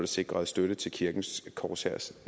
sikret støtte til kirkens korshærs